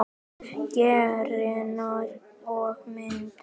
Greinar og mynd